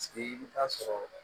Sigi i bi taa sɔrɔ